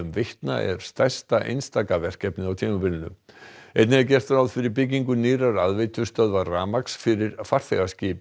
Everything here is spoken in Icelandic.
Veitna er stærsta einstaka verkefnið á tímabilinu einnig er gert ráð fyrir byggingu nýrrar aðveitustöðvar rafmagns fyrir farþegaskip